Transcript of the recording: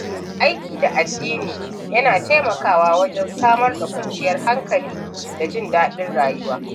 Aiki da addini yana taimakawa wajen samar da kwanciyar hankali da jin daɗin rayuwa.